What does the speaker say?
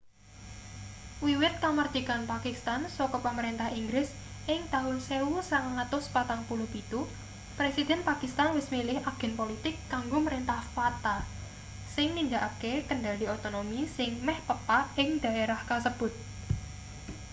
wiwit kamardikan pakistan saka pamrentah inggris ing taun 1947 presiden pakistan wis milih agen politik kanggo mrentah fata sing nindakake kendhali otonomi sing meh pepak ing dhaerah kasebut